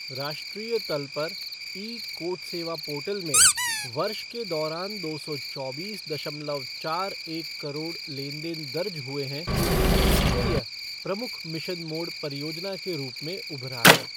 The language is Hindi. राष्ट्रीय तल पर, ई कोर्ट सेवा पोर्टल में वर्ष के दौरान दो सौ चौबीस दशमलव चार एक करोड़ लेन देन दर्ज हुए हैं, जिससे यह प्रमुख मिशन मोड परियोजना के रूप में उभरा है।